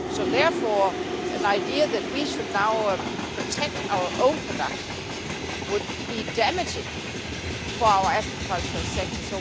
Therefore, the idea that we should now protect our own production would be damaging for our agricultural sector.